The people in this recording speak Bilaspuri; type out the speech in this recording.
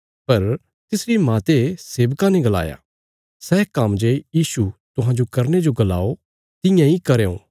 पर तिसरी माते सेवकां ने गलाया सै काम्म जे यीशु तुहांजो करने जो गलाओ तियां इ करयों